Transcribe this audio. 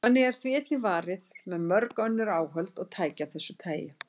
Þannig er því einnig varið með mörg önnur áhöld og tæki af þessu tagi.